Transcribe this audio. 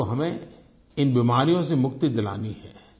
भारत को हमें इन बीमारियों से मुक्ति दिलानी है